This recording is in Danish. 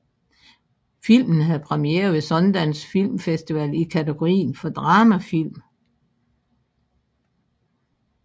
Filmen havde premiere ved Sundance Film Festival i kategorien for dramafilm